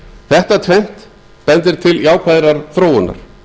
þetta tvennt bendir til jákvæðrar þróunar